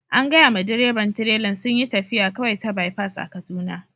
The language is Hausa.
An gaya ma direban tileran sunyi taffiya kawai ta bipas a'Kaduna.